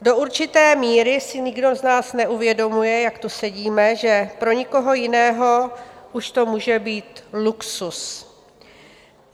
Do určité míry si nikdo z vás neuvědomuje, jak tu sedíme, že pro někoho jiného už to může být luxus.